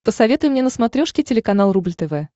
посоветуй мне на смотрешке телеканал рубль тв